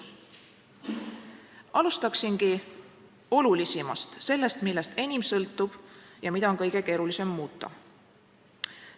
Alustan olulisimast, sellest, millest enim sõltub ja mida on kõige keerulisem muuta.